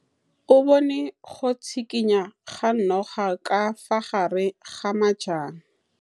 O bone go tshikinya ga noga ka fa gare ga majang.